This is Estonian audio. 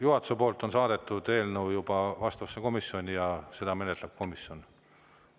Juhatuse poolt on eelnõu juba saadetud vastavasse komisjoni ja seda menetleb komisjon.